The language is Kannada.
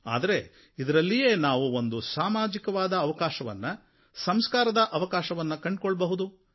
ಆದರೆ ಇದರಲ್ಲಿಯೇ ನಾವು ಒಂದು ಸಾಮಾಜಿಕವಾದ ಅವಕಾಶವನ್ನು ಸಂಸ್ಕಾರದ ಅವಕಾಶವನ್ನು ಕಂಡುಕೊಳ್ಳಬಹುದು